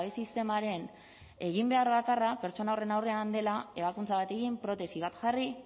sistemaren eginbeharra bakarra pertsona horren aurrean dela ebakuntza bat egin protesi bat jarri